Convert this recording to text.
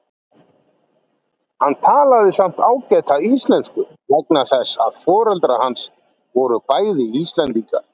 Hann talaði samt ágæta Íslensku vegna þess að foreldrar hans voru bæði Íslendingar.